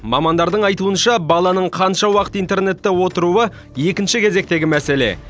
мамандардың айтуынша баланың қанша уақыт интернетте отыруы екінші кезектегі мәселе